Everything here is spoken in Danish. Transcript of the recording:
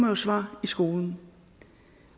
jo svare i skolen